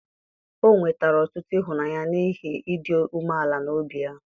o nwetara ọtụtụ ịhụnanya n'ihi ịdị umeala n'obi ya.